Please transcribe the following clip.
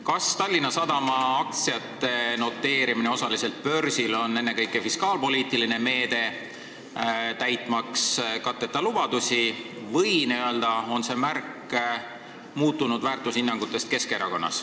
Kas Tallinna Sadama aktsiate osaliselt börsil noteerimine on ennekõike fiskaalpoliitiline meede, täitmaks katteta lubadusi, või on see märk Keskerakonna muutunud väärtushinnangutest?